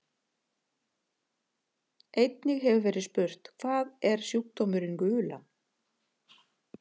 Einnig hefur verið spurt: Hvað er sjúkdómurinn gula?